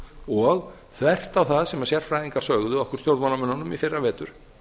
og þvert á það sem sérfræðingar sögðu okkur stjórnmálamönnunum í fyrravetur